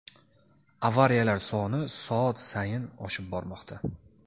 avariyalar soni soat sayin oshib bormoqda.